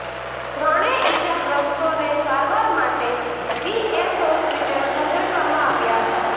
ત્રણે ઇજાગ્રસ્તોને સારવાર માટે વીએસ હોસ્પિટલ ખસેડવામાં આવ્યા હતા